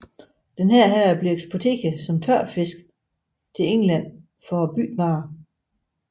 Denne blev så eksporteret som tørfisk til England for varebytte